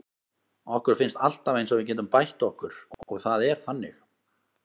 Okkur finnst alltaf eins og við getum bætt okkur og það er þannig.